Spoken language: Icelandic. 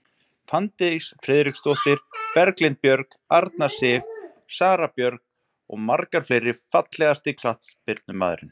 Fanndís Friðriksdóttir, Berglind Björg, Arna Sif, Sara Björk og margar fleiri Fallegasti knattspyrnumaðurinn?